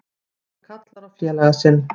Hann kallar á félaga sinn.